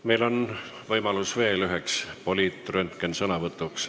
Meil on võimalus veel üheks poliitröntgensõnavõtuks.